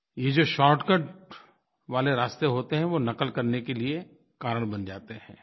ये जो शॉर्टकट वाले रास्ते होते हैं वो नक़ल करने के लिये कारण बन जाते हैं